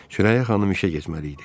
Sürəyyə xanım işə getməli idi.